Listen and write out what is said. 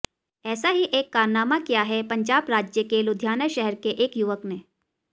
ऐसा ही एक कारनामा किया है पंजाब राज्य के लुधियाना शहर के एक युवक ने